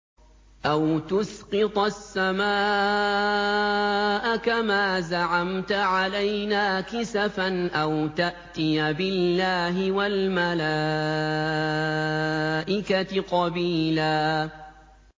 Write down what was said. أَوْ تُسْقِطَ السَّمَاءَ كَمَا زَعَمْتَ عَلَيْنَا كِسَفًا أَوْ تَأْتِيَ بِاللَّهِ وَالْمَلَائِكَةِ قَبِيلًا